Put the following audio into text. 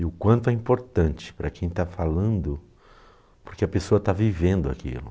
E o quanto é importante para quem está falando, porque a pessoa está vivendo aquilo.